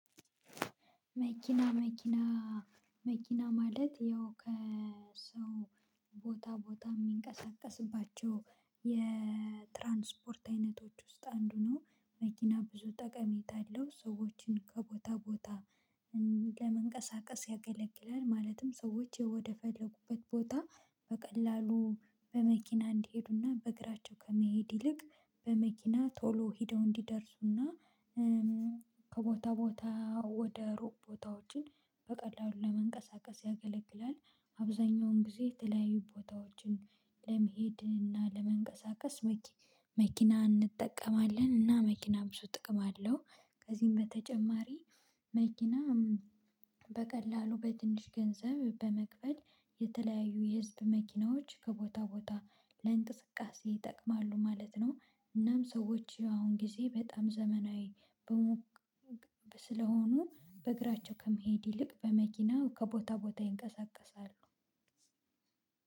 መኪና መኪና መኪና ማለት ያው ከሰው ቦታ ቦታ የሚንቀሳቀስባቸው የትራንስፖርት አይነቶች ውስጥ አንዱ ነው። መኪና ብዙ ጠቀሜታ አለው ሰዎችን ከቦታ ቦታ ለመንቀሳቀስ ያገለግላል። ማለትም ሰዎች ወደፈለጉበት ቦታ በቀላሉ በመኪና እንዲሄዱና በእግራቸው ከመሄድ ይልቅ በመኪና ቶሎ ሄደው እንዲደርሱና ከቦታ ቦታ ወደ ሩቅ ቦታዎችን በቀላሉ ለመንቀሳቀስ ያገለግላል አብዛኛውን ጊዜ የተለያዩ ቦታዎችን ለመሄድ እና ለመንቀሳቀስ መኪና እንጠቀማለን። እና መኪና ብዙ ጥቅም አለው። ከዚህም በተጨማሪ መኪና በቀላሉ በትንሽ ገንዘብ በመክፈል የተለያዩ የህዝብ መኪናዎች ከቦታ ቦታ ለእንቅስቃሴ ይጠቅማሉ ማለት ነው እናም ሰዎች አሁን ጊዜ በጣም ዘመናዊ ስለሆኑ በእግራቸው ከመሄድ ይልቅ በመኪናው ከቦታ ቦታ ይንቀሳቀሳሉ።